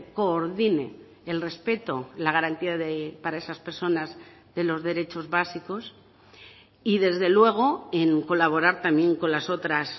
coordine el respeto la garantía para esas personas de los derechos básicos y desde luego en colaborar también con las otras